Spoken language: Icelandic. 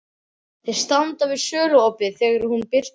Þeir standa við söluopið þegar hún birtist.